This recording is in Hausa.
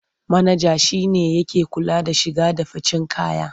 Manaja shi ne yake kula da shige da ficen kaya.